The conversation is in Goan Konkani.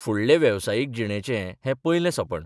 फुडले वेवसायीक जिणेचें हें पयलें सोंपण.